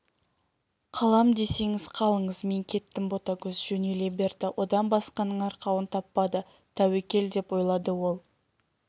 қалам десеңіз қалыңыз мен кеттім ботагөз жөнеле берді одан басқаның арқауын таппады тәуекел деп ойлады ол